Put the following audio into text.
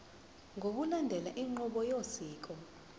ngokulandela inqubo yosiko